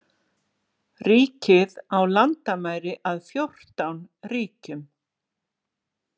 Ríkið á landamæri að fjórtán ríkjum.